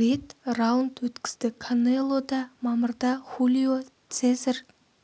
рет раунд өткізді канело да мамырда хулио сезар